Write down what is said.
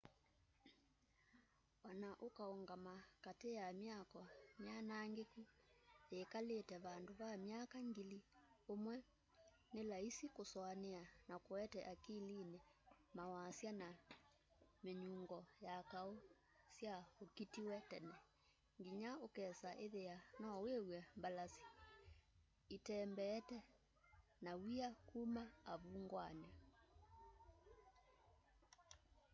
ona ũkaũngama katĩ ya mĩako mianangĩkũ yĩkalĩte vandũ va mĩaka ngili ũmwe nĩ laisi kũsũanĩa na kũete akilini mawasya na mĩnyũngo ya kaũ sya ũkĩtĩw'e tene ngĩnya ũkesa ĩthĩa no wĩw'e mbalasĩ ĩtembeete na wĩa kũma avũngwanĩ